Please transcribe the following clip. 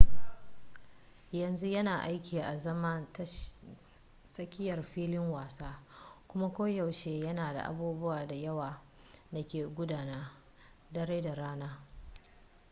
yanzu yana aiki azaman tsakiyar filin wasa kuma koyaushe yana da abubuwa da yawa da ke gudana dare da rana